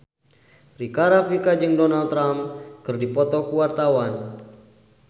Rika Rafika jeung Donald Trump keur dipoto ku wartawan